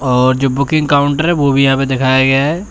और जो booking counter है वो भी यहां पे दिखाया गया है।